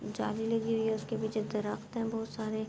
جالی لگی ہوئی ہے۔ اسکے پیچھے درخت ہے بہت سارے--